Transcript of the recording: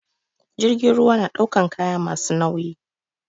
Jirgin ruwa na ɗaukan kaya masu nauyi